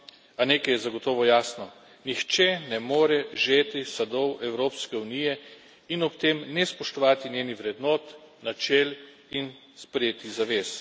A nekaj je zagotovo jasno nihče ne more žeti sadov Evropske unije in ob tem ne spoštovati njenih vrednot, načel in sprejetih zavez.